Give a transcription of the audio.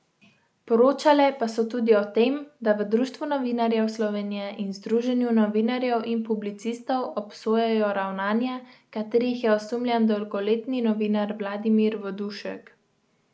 Poročale pa so tudi o tem, da v Društvu novinarjev Slovenije in Združenju novinarjev in publicistov obsojajo ravnanja, katerih je osumljen dolgoletni novinar Vladimir Vodušek.